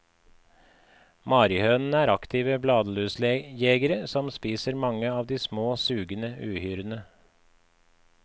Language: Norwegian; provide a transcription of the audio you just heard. Marihønene er aktive bladlusjegere, som spiser mange av de små sugende uhyrene.